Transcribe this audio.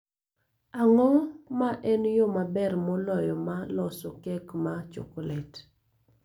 Ang�o ma en yo maber moloyo ma loso kek ma chokolet?